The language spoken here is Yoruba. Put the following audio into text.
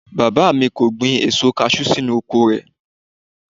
Bàbá mi kò gbin èso kaṣú sínú oko rẹ̀